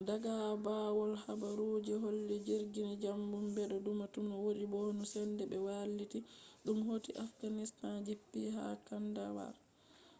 daga bawow habaruji holli jirgi majum bedo tuma wodi bomu sende be wailiti dum hoti afghanistan jippi ha kandahar